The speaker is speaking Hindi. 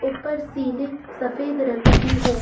ऊपर सीलिंग सफेद रंग की है।